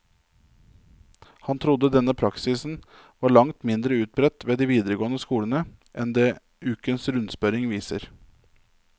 Han trodde denne praksisen var langt mindre utbredt ved de videregående skolene, enn det ukens rundspørring viser.